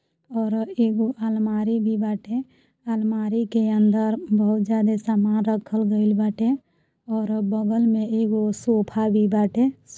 और एको अलमारी भी बाटे। आलमारी के अंदर बहुत ज्यादे समान रखल गइल बाटे और बगल मे एगो सोफ़ा भी बाटे। सो --